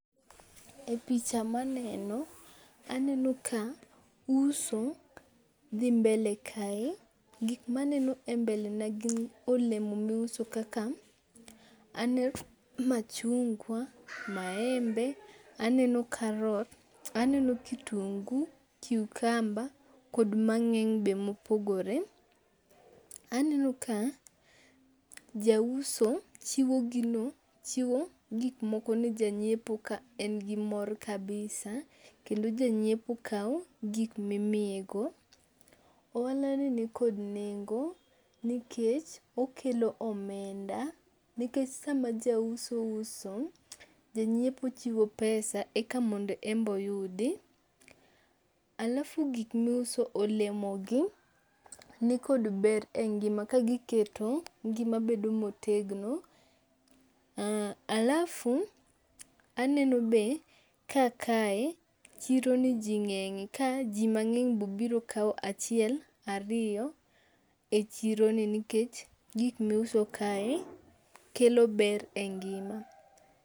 E picha maneno, aneno ka uso dhi mbele kae. Gik maneno e mbele na gin olemo miuso kaka, aneno machungwa, maembe, aneno karot, aneno kitungu, cucumber kod mang'eny be mopogore. Aneno ka jauso chiwo gino chiwo gikmoko ne janyiepo ka en gi mor kabisa kendo janyiepo kao gik mimiye go. Ohala ni nikod nengo nikech okelo omenda nikech sama jauso uso janyiepo chiwo pesa eka mondo en be oyudi. Alafu gik miuso olemo gi nikod ber e ngima ka giketo ngima bedo motegno. Alafu aneno be ka kae chironi ji ng'eng'e ka ji mang'eny be obiro kao achiel ariyo e chironi nikech gik miuso kae kelo ber e ngima.